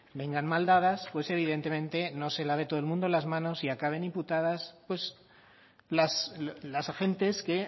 vengan mal dadas pues evidentemente no se lave todo el mundo las manos y acaben imputadas las agentes que